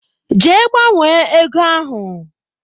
Jee gbanwe ego ahụ!